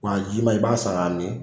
Wa jiman i b'a sara ka min